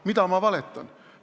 Mida ma valetasin?